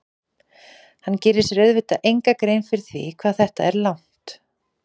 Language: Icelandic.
Hann gerir sér auðvitað enga grein fyrir því hvað þetta er langt.